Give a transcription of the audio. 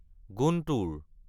গুণ্টোৰ